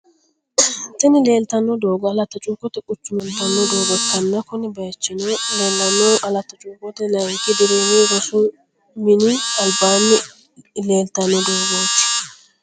Tini lelitano dogo alatti chukote kuchuma gido afanitano dogo ikana kuni bayichino lellanohu alatti chukote layinki dirimi rossu mini alibani litani dogoti